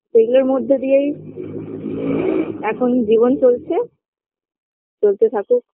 সেগুলোর মধ্যে দিয়েই এখন জীবন চলছে চলতে থাকুক